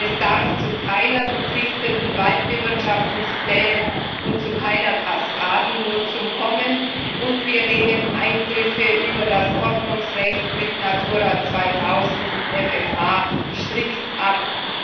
Es darf zu keinen verpflichtenden Waldbewirtschaftungsplänen und zu keiner Kaskadennutzung kommen, und wir lehnen Eingriffe über das Ordnungsrecht mit Natura 2000 und FFH strikt ab.